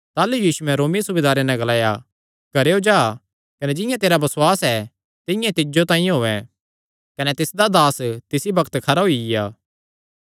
ताह़लू यीशुयैं रोमी सूबेदारे नैं ग्लाया घरेयो जा कने जिंआं तेरा बसुआस ऐ तिंआं तिज्जो तांई होयैं कने तिसदा दास तिसी बग्त खरा होईया